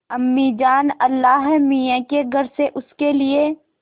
अम्मीजान अल्लाहमियाँ के घर से उसके लिए